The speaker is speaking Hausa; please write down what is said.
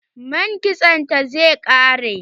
Man kitson ta zai ƙare.